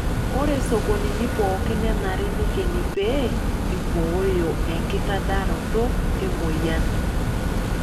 Ore sokonini pookin nenare neikeni pee eibooyo enkitadaroto emoyian.